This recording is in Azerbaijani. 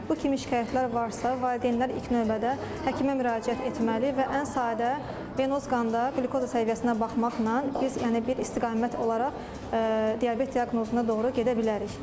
Bu kimi şikayətlər varsa, valideynlər ilk növbədə həkimə müraciət etməli və ən sadə venoz qanda qlükoza səviyyəsinə baxmaqla biz yəni bir istiqamət olaraq diabet diaqnozuna doğru gedə bilərik.